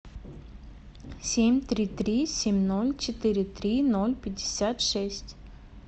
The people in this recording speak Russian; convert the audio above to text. семь три три семь ноль четыре три ноль пятьдесят шесть